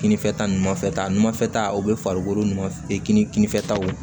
Kininfɛta ninnu fɛ ta ɲumanfɛ ta u bɛ farikolo nɔfɛ kini kini fɛta